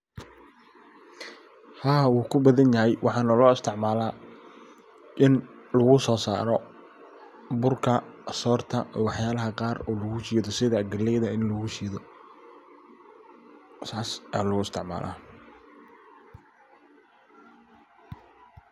Haa wuu kubadan yahay waxana loo isticmala ini lagu so saraa burka, sorta iyo wax yalaha qaar sidha galeyda in lagu shido sas aa loo isticmala.